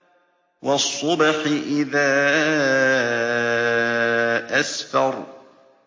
وَالصُّبْحِ إِذَا أَسْفَرَ